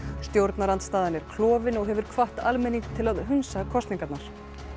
stjórnarandstaðan er klofin og hefur hvatt almenning til að hunsa kosningarnar